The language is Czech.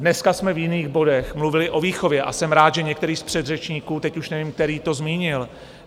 Dneska jsme v jiných bodech mluvili o výchově a jsem rád, že některý z předřečníků, teď už nevím který, to zmínil.